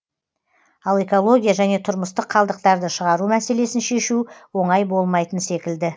ал экология және тұрмыстық қалдықтарды шығару мәселесін шешу оңай болмайтын секілді